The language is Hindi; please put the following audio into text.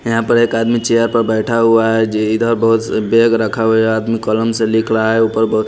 यहां पर एक आदमी चेयर पर बैठा हुआ है इधर बहुत बॅग रखा हुआ है आदमी कॉलम से लिख रहा है ऊपर बहुत।